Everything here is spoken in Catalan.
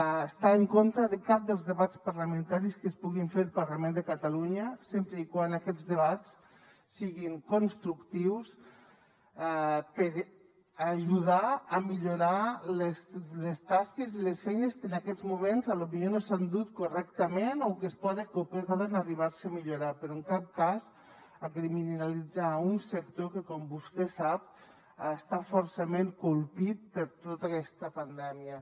no estarà en contra de cap dels debats parlamentaris que es puguin fer al parlament de catalunya sempre que aquests debats siguin constructius per ajudar a millorar les tasques i les feines que en aquests moments potser no s’han dut correctament o que es poden arribar a millorar però en cap cas a criminalitzar un sector que com vostè sap ha estat fortament colpit per tota aquesta pandèmia